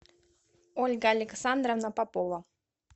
ольга александровна попова